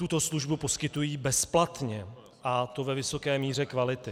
Tuto službu poskytují bezplatně, a to ve vysoké míře kvality.